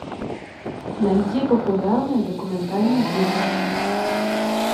найди популярные документальные фильмы